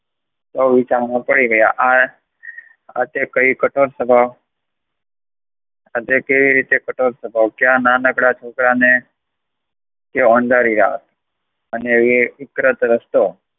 સૌ વિચારણા કરી રહ્યા હતા, આ કઈ કઠોર સ્વભાવ, આ રીતે કઠોર સ્વભાવ નાનકડા છોકરા ને હંકારી રહ્યા, અને એ રસ્તો